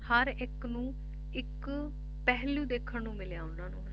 ਹਰ ਇੱਕ ਨੂੰ ਇੱਕ ਪਹਿਲੂ ਦੇਖਣ ਨੂੰ ਮਿਲਿਆ ਉਹਨਾਂ ਨੂੰ